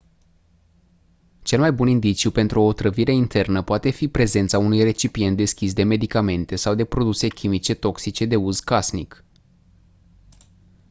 cel mai bun indiciu pentru o otrăvire internă poate fi prezența unui recipient deschis de medicamente sau de produse chimice toxice de uz casnic